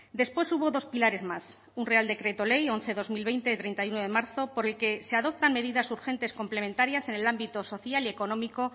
después hubo dos pilares más un real decreto ley once barra dos mil veinte treinta y uno de marzo por el que se adoptan medidas urgentes complementarias en el ámbito social y económico